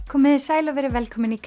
komiði sæl og verið velkomin í